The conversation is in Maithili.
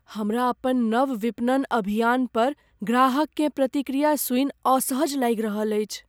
हमरा अपन नव विपणन अभियानपर ग्राहककेँ प्रतिक्रिया सुनि असहज लागि रहल अछि।